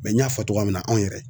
n y'a fɔ togoya min na anw yɛrɛ.